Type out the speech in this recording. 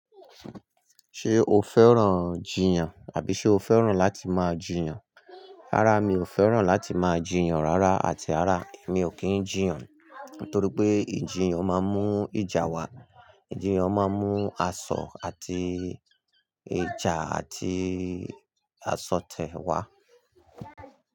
Ṣé o fẹ́ràn jiyàn àbí ṣó fẹ́ràn láti máa jiyàn? Rárá mi ò fẹ́ràn láti máa jiyàn rárá àti rárá, èmi ò kì n jiyàn. Nítorí pé ìjiyàn máa ń mú ìjà wá. Ìjiyàn máa ń mú asọ àti ìjà àti asọ̀tẹ̀ wá.